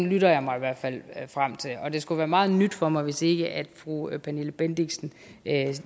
lytter jeg mig i hvert fald frem til og det skulle være meget nyt for mig hvis ikke fru pernille bendixen